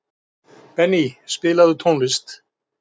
Benný, spilaðu tónlist.